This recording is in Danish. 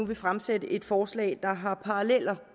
vil fremsætte et forslag der har paralleller